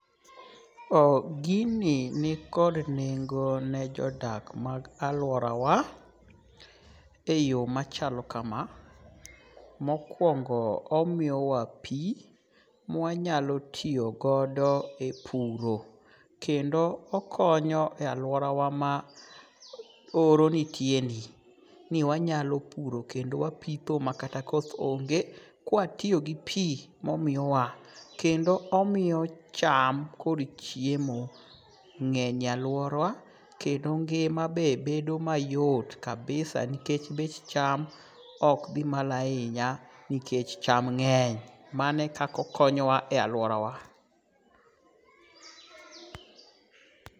Gini nikod nengo ne jodak mag alwarawa e yo machalo kama, mokwongo omiyowa pi mwa nyalo tiyo godo e puro, kendo oknyo e alworawa ma oro nitieni. Ni wanyalo puro kendo wapitho makata koth onge, kwa tiyo gi pi momiyowa. Kendo omiyo cham kod chiemo ng'eny e alwora kendo ngima be bedo mayot kabisa, nikech bech cham ok dhi malo ahinya nikech cham ng'eny. Mano e kaka okonyowa e alworawa.